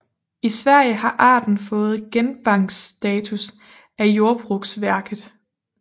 I Sverige har arten fået Genbanksstatus af Jordbruksverket